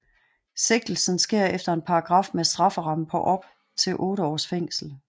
Sigtelsen sker efter en paragraf med en strafferamme på op til 8 års fængsel